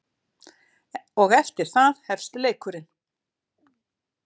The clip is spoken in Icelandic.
Og eftir það hefst leikurinn.